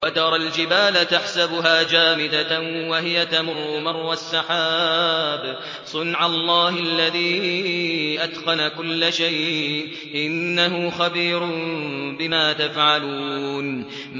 وَتَرَى الْجِبَالَ تَحْسَبُهَا جَامِدَةً وَهِيَ تَمُرُّ مَرَّ السَّحَابِ ۚ صُنْعَ اللَّهِ الَّذِي أَتْقَنَ كُلَّ شَيْءٍ ۚ إِنَّهُ خَبِيرٌ بِمَا تَفْعَلُونَ